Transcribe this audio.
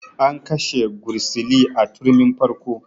An kashe gursili a turmin farko